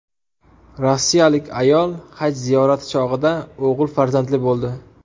Rossiyalik ayol haj ziyorati chog‘ida o‘g‘il farzandli bo‘ldi.